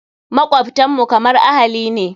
Makwabtan mu kamar ahali ne.